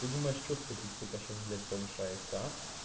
ты думаешь что статистика сейчас блять повышается